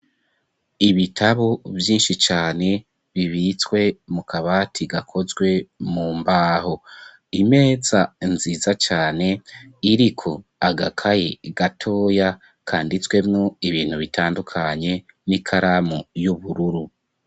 Ibitabo vyinshi cane bibitswe mu kabati gakozwe mu mbaho imeza nziza cane iriko agakaye gatoya kanditswemwo ibintu bitandukanye n'ikaramu y'ubururu.